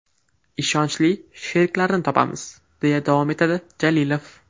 Ishonchli sheriklarni topamiz”, deya davom etadi Jalilov.